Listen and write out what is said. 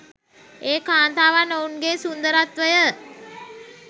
ඒ කාන්තාවන් ඔවුන්ගේ සුන්දරත්වය